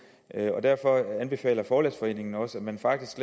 og derfor anbefaler forlæggerforeningen også at man faktisk